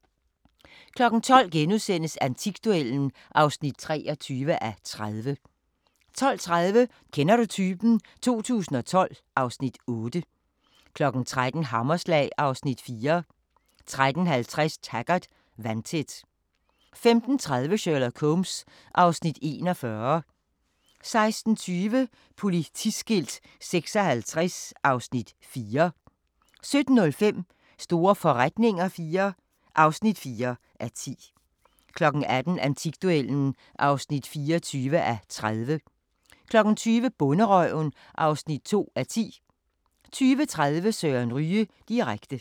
12:00: Antikduellen (23:30)* 12:30: Kender du typen? 2012 (Afs. 8) 13:00: Hammerslag (Afs. 4) 13:50: Taggart: Vandtæt 15:30: Sherlock Holmes (Afs. 41) 16:20: Politiskilt 56 (Afs. 4) 17:05: Store forretninger IV (4:10) 18:00: Antikduellen (24:30) 20:00: Bonderøven (2:10) 20:30: Søren Ryge direkte